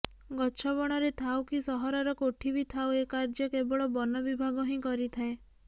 ଗଛ ବଣରେ ଥାଉ କି ସହରର କୋଠିବି ଥାଉ ଏ କାର୍ୟ୍ୟ କେବଳ ବନ ବିଭାଗ ହିଁ କରିଥାଏ